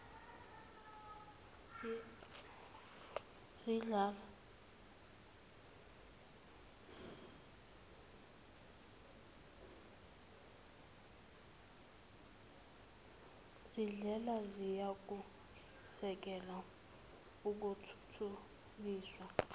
zindlela ziyakusekela ukuthuthukiswa